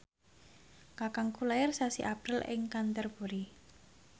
kakangku lair sasi April ing Canterbury